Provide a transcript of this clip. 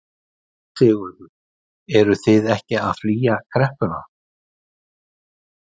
Sigurður: Þið eruð ekki að flýja kreppuna?